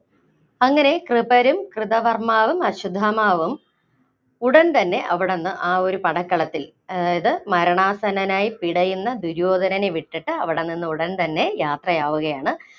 അങ്ങനെ കൃപരും കൃതകർമ്മാവും, അശ്വത്ഥമാവും ഉടന്‍തന്നെ അവിടുന്ന് ആ ഒരു പടക്കളത്തില്‍ അതായത് മരണാസന്നനായി പിടയുന്ന ദുര്യോധനനെ വിട്ടിട്ട് അവിടെനിന്ന് ഉടന്‍ യാത്രയാവുകയാണ്.